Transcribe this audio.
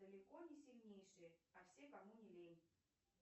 далеко не сильнейшие а все кому не лень